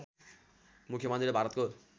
मुख्य मन्त्री र भारतको